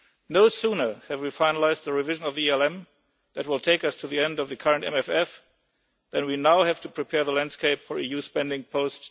No sooner have we finalised the revision of the ELM that will take us to the end of the current Multiannual Financial Framework than we now have to prepare the landscape for EU spending post